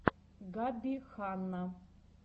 габби ханна